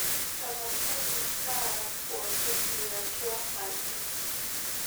tapasali taara pookin liatwa aji